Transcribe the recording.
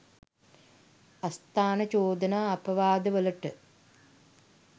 අස්ථාන චෝදනා අපවාදවලට